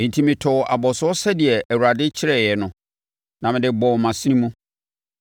Enti, metɔɔ abɔsoɔ sɛdeɛ Awurade kyerɛeɛ no, na mede bɔɔ mʼasene mu.